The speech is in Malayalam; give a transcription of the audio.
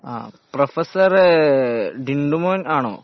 ആ പ്രൊഫസറ് ടിണ്ടുമോൻ ആണോ?